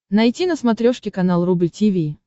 найти на смотрешке канал рубль ти ви